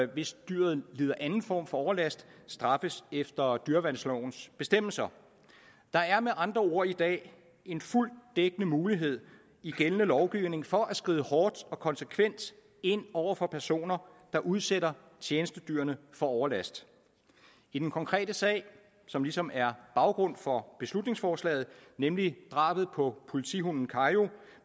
hvis dyret lider anden form for overlast straffes efter dyreværnslovens bestemmelser der er med andre ord i dag en fuldt ud dækkende mulighed i gældende lovgivning for at skride hårdt og konsekvent ind over for personer der udsætter tjenestedyrene for overlast i den konkrete sag som ligesom er baggrund for beslutningsforslaget nemlig drabet på politihunden kayo